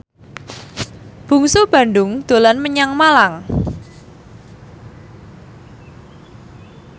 Bungsu Bandung dolan menyang Malang